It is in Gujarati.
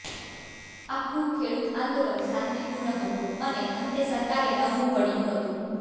આખું ખેડૂત આંદોલન શાંતિપૂર્ણ હતું અને અંતે સરકારે નમવું પડ્યું હતુ